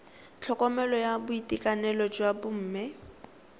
tlhokomelo ya boitekanelo jwa bomme